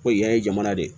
Ko yan ye jamana de ye